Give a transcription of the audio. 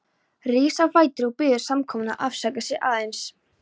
Rís á fætur og biður samkomuna að afsaka sig aðeins.